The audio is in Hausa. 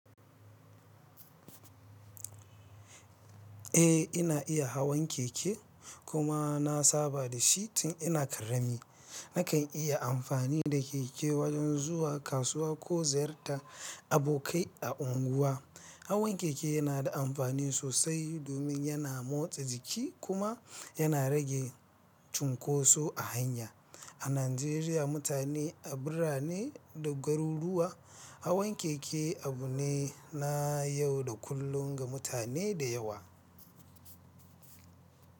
Eh, ina iya hawan keke kuma na saba da shi tun ina ƙarami. Nakan yi amfani da keke wajen zuwa kasuwa ko ziyartar abokai a unguwa. Hawan keke yana da amfani sosai domin yana motsa jiki kuma yana rage cunkoso a hanya. A Najeriya, mutane, a birane da garuruwa, hawan keke abu ne na yau da kullun ga mutane da yawa.